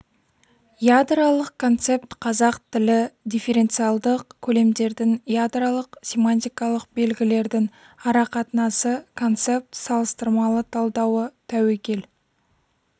ядролық концепт қазақ тілі дифференциалдық көлемдердің ядролық семантикалық белгілердің арақатынасы концепт салыстырмалы талдауы тәуекел